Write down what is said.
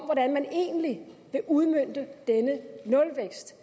hvordan man egentlig vil udmønte denne nulvækst